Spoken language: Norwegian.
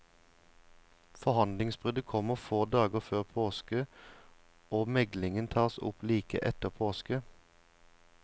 Forhandlingsbruddet kommer få dager før påske og meglingen tas opp like etter påske.